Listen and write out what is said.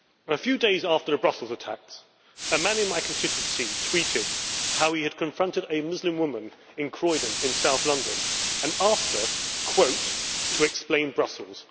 A few days after the Brussels attacks, a man in my constituency tweeted how he had confronted a Muslim woman in Croydon in South London, and asked her to explain Brussels'.